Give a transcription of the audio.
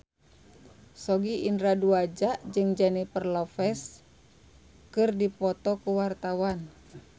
Sogi Indra Duaja jeung Jennifer Lopez keur dipoto ku wartawan